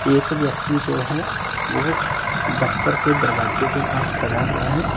एक व्यक्ति जो है वो दफ्तर के दरवाजे के पास खड़ा हुआ है।